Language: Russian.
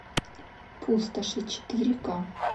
пустоши четыре ка